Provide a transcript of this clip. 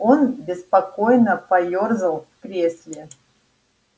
он беспокойно поёрзал в кресле